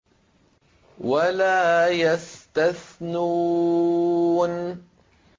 وَلَا يَسْتَثْنُونَ